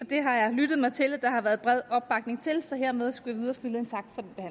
det har jeg lyttet mig til at der har været bred opbakning til så hermed skulle